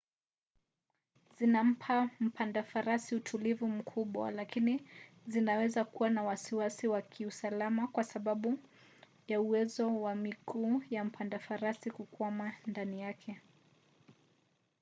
zinampa mpanda farasi utulivu mkubwa lakini zinaweza kuwa na wasiwasi wa kiusalama kwa sababu ya uwezo wa miguu ya mpanda farasi kukwama ndani yake